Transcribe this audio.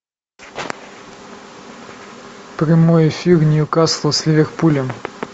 прямой эфир ньюкасла с ливерпулем